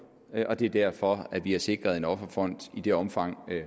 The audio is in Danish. og det er derfor at vi har sikret en offerfond i det omfang